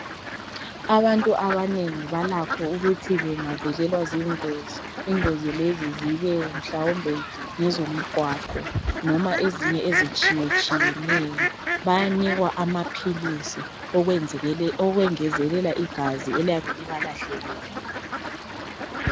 Abantu abanengi balakho ukuthi bangavelelwa zingozi, ingozi lezi zibe mhlawumbe ngezomgwaqo noma ezinye ezitshiye tshiyeneyo. Bayanikwa amaphilisi okwengezelela igazi eliyabe liba lahlekele